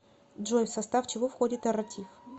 джой в состав чего входит эрратив